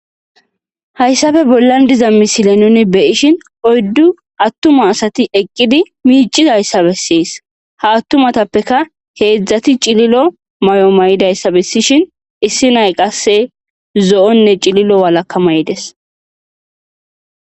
hayssafe bollan diza misile nuni beyishin oyddu attuma asati eqqidi miicizayssa bessees ha attumatappeka heedzdzati cililo may7o may7idayssa bessishin issi nay qasse zo7onne cililo walakka mayides